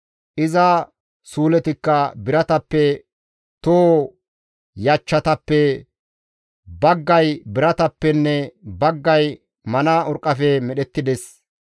iza suuletikka biratappe, toho yachchatappe baggay biratappenne baggay mana urqqafe medhettides.